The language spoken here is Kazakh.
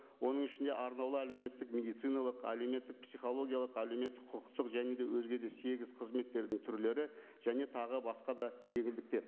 оның ішінде арнаулы әлеуметтік медициналық әлеуметтік психологиялық әлеуметтік құқықтық және де өзге де сегіз қызметтердің түрлері және тағы басқа да жеңілдіктер